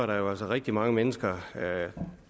rigtig mange mennesker